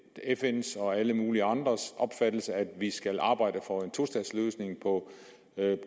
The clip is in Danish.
fns og alle mulige andres opfattelse nemlig at vi skal arbejde for en tostatsløsning på